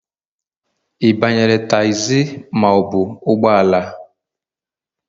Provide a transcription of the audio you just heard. Ị banyere tagzi ma ọ bụ ụgbọ ala?